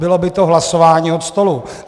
Bylo by to hlasování od stolu.